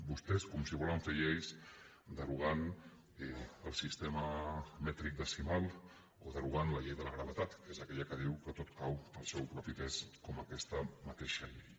vostès com si volen fer lleis derogant el sistema mètric decimal o derogant la llei de la gravetat que és aquella que diu que tot cau pel seu propi pes com aquesta mateixa llei